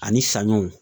Ani saɲɔw